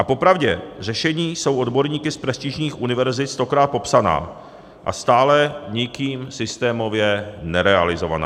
A popravdě řešení jsou odborníky z prestižních univerzit stokrát popsaná a stále nikým systémově nerealizovaná.